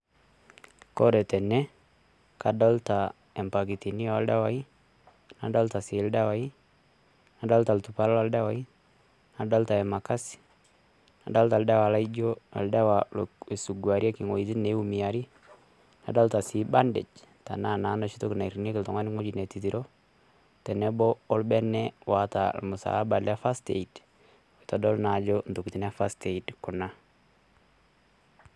Ore tene kadolita impakitini oldawai, nadolita oldawa ,nadolita bandage tenebo orbene oota ormusalaba le first aid, kitodolu ajo ntokitin e first aid kuna.